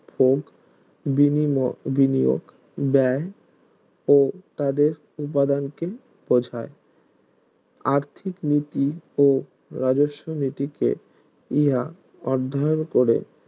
ভোগ বিনিয়োগ ব্যায় ও তাদের উপাদানকে বোঝায় আর্থিক নীতি ও রাজস্ব নীতিকে ইহা অর্ধায়ন করে